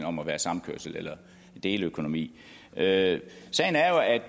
om at være samkørsel eller deleøkonomi sagen